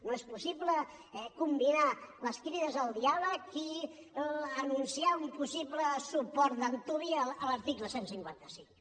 no és possible combinar les crides al diàleg i anunciar un possible suport d’antuvi a l’article cent i cinquanta cinc